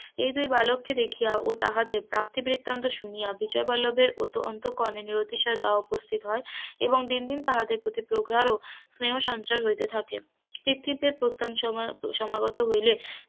এই দুই বালককে দেখিয়াও তাহাদের প্রাপ্তি বৃত্তান্ত শুনিয়া বিজয়বল্লভের অতো অন্তকরণে নিয়তি সহোদয় উপস্থিত হয়, এবং দিন দিন তাহাদের প্রতি প্রাগাঢ স্নেহ সঞ্চয় হইতে থাকে প্রস্থান সমা সমাগত হইলে,